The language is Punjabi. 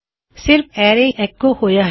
ਸਾਨੂੰ ਹੁਣੇ ਹੀ ਮਿਲਿਆ ਅਰੈ ਐੱਕੋਡ ਆਉਟ